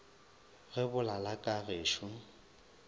ge bo lala ka gešo